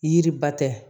Yiri ba tɛ